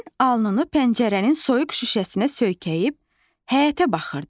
Ramin alnını pəncərənin soyuq şüşəsinə söykəyib həyətə baxırdı.